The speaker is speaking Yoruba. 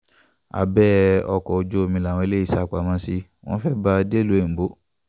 abẹ́ ọkọ̀ ojú omi làwọn eléyìí sá pamọ́ sí wọn fẹ́ẹ́ bá a dẹ́lúu òyìnbó